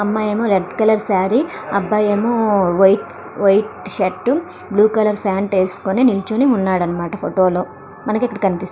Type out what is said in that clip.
అమ్మాయి ఏమో red colour sorry అబ్బా ఏమో white - white shirt blue colour pant వేసుకొని నీచొని ఉన్నాడన్నమాట ఫోటో లో మనకి ఇక్కడ కనిపిస్తుంది.